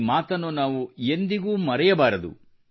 ಈ ಮಾತನ್ನು ನಾವು ಎಂದಿಗೂ ಮರೆಯಬಾರದು